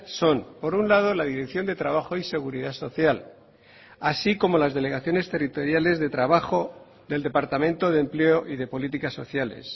son por un lado la dirección de trabajo y seguridad social así como las delegaciones territoriales de trabajo del departamento de empleo y de políticas sociales